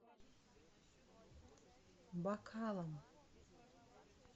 бакалом